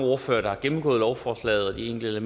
ordførere der har gennemgået lovforslagets enkelte